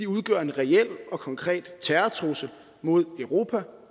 udgør en reel og konkret terrortrussel mod europa